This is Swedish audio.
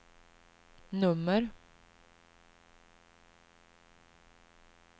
nummer